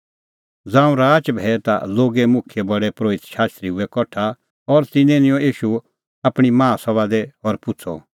ज़ांऊं राच भैई ता लोगे मुखियै प्रधान परोहित शास्त्री हुऐ कठा और तिन्नैं निंयं ईशू आपणीं माहा सभा दी और पुछ़अ